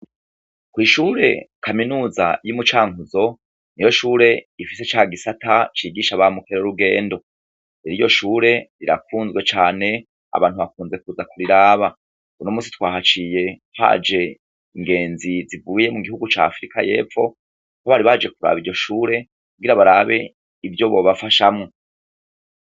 Kw'ishure kaminuza yomucankuzo niyoshure ifise cagisata cigisha bamukerarugendo; iryoshure rirakunzwe cane abantu bakunze kuza kuriraba. Uyumusi twahaciye haje ingenzi zivuye mugihugu ca afurika y'epfo aho bari baje kuraba iryoshure kugira barabe ivyobobafashamwo.